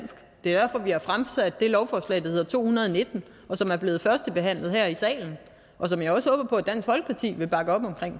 derfor vi har fremsat det lovforslag der hedder to hundrede og nitten og som er blevet førstebehandlet her i salen og som jeg også håber på at dansk folkeparti vil bakke op om